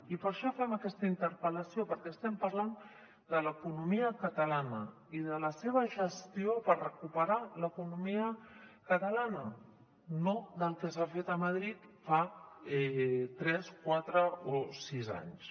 i per això fem aquesta interpel·lació perquè estem parlant de l’economia catalana i de la seva gestió per recuperar l’economia catalana no del que s’ha fet a madrid fa tres quatre o sis anys